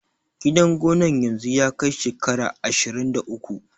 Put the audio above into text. Gidan gonan yanzu ya kai shekara ashirun da uku